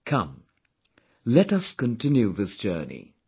Come, let us continue this journey